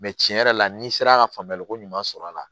tiɲɛ yɛrɛ la n'i sera ka faamuyali ko ɲuman sɔr'a la